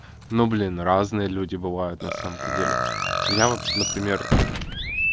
ну блин разные люди бывают на самом-то деле я вот например